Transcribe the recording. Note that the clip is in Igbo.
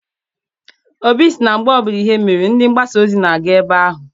Obi sị na mgbbe ọbụla ihe mere, ndị mgbasa ozi na-aga ebe ahụ.